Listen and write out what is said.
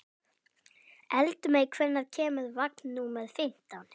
Eldmey, hvenær kemur vagn númer fimmtán?